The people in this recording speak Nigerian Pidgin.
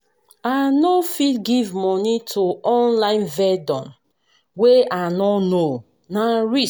I no fit give moni to online vendor wey I no know, na risk.